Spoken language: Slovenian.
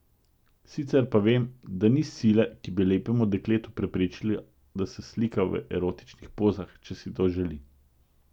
Sicer pa vem, da ni sile, ki bi lepemu dekletu preprečila, da se slika v erotičnih pozah, če si to želi.